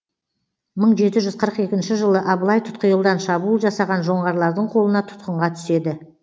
мың жеті жүз қырық екінші жылы абылай тұтқиылдан шабуыл жасаған жоңғарлардың қолына тұтқынға түседі